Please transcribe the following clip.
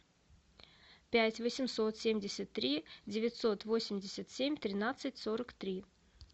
пять восемьсот семьдесят три девятьсот восемьдесят семь тринадцать сорок три